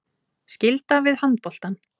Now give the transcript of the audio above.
Skylda við handboltann